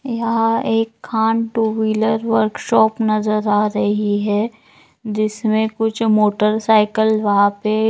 यहाँ एक Khan two wheeler workshop नज़र आ रही है जिसमें कुछ मोटरसाइकिल वहां पे --